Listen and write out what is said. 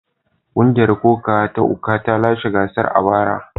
Kungiyar kokawa ta Ukwa ta lashe gasar a bara.